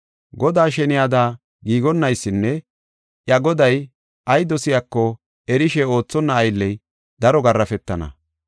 “Godaa sheniyada giigonnaysinne iya goday ay dosiyako erishe oothonna aylley daro garaafetana.